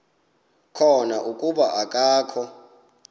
khona kuba akakho